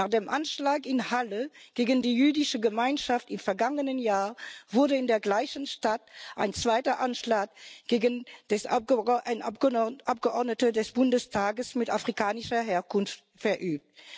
Nach dem Anschlag in Halle gegen die jüdische Gemeinschaft im vergangenen Jahr wurde in der gleichen Stadt ein zweiter Anschlag gegen einen Abgeordneten des Bundestages mit afrikanischer Herkunft verübt.